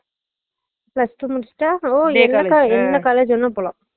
plus two முடிச்சுட்டா ஒ என்ன college வேண்ணா போலாம்